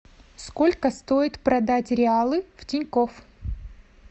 сколько стоит продать реалы в тинькофф